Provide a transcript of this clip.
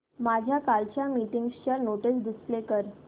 माझ्या कालच्या मीटिंगच्या नोट्स डिस्प्ले कर